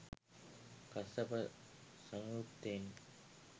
Kassapa සංයුත්තයෙනි.